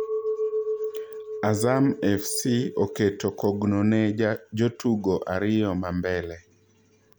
Azam FC oketo kogno ne jotugo ariyo mambele